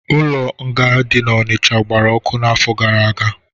Ụlọ nga dị n'Onicha gbara ọkụ n'afọ gara aga